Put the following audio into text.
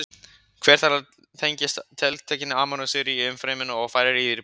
Hver þeirra tengist tiltekinni amínósýru í umfryminu og færir í ríbósómið.